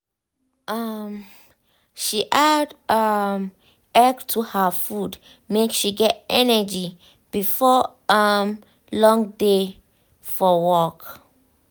um she add um egg to her food make she get energy before um long day for work.